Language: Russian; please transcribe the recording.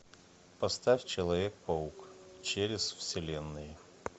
поставь человек паук через вселенные